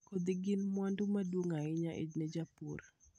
Kodhi gin mwandu maduong' ahinya ne jopur.